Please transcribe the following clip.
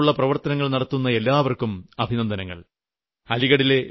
രാജ്യത്ത് ഈ തരത്തിലുളള പ്രവർത്തനങ്ങൾ നടത്തുന്ന എല്ലാവർക്കും അഭിനന്ദനങ്ങൾ